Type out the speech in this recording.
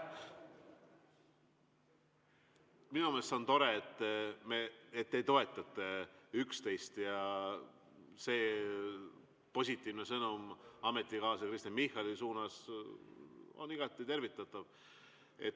Minu meelest see on tore, et te toetate üksteist, ja see positiivne sõnum ametikaaslase Kristen Michali suunas on igati tervitatav.